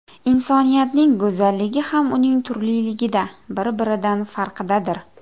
Insoniyatning go‘zalligi ham uning turliligida, bir-biridan farqidadir.